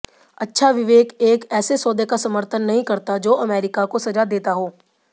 अच्छा विवेक एक ऐसे सौदे का समर्थन नहीं करता जो अमेरिका को सज़ा देता हो